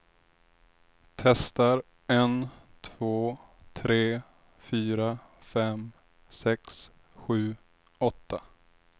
Testar en två tre fyra fem sex sju åtta.